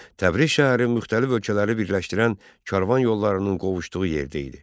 Təbriz şəhəri müxtəlif ölkələri birləşdirən karvan yollarının qovuşduğu yerdə idi.